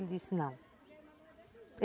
Ele disse, não.